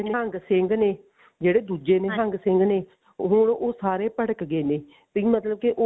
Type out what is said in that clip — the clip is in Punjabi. ਨਿਹੰਗ ਸਿੰਘ ਨੇ ਜਿਹੜੇ ਦੁੱਜੇ ਨਿਹੰਗ ਸਿੰਘ ਨੇ ਹੁਣ ਉਹ ਸਾਰੇ ਭੜਕ ਗਏ ਨੇ ਵੀ ਮਤਲਬ ਕਿ